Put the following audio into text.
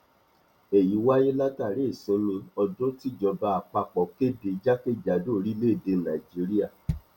èyí wáyé látàrí ìsinmi ọdún tíjọba àpapọ kéde jákèkàdò orílẹèdè nàíjíríà